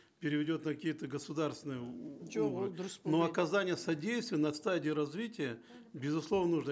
переведет на какие то государственные жоқ ол дұрыс но оказание содействия на стадии развития безусловно нужно